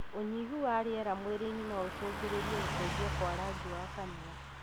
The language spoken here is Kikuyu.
ũnyihu wa rĩera mwĩrĩ-inĩ noũcũngĩrĩrie gũcenjia kwa rangi wa kanua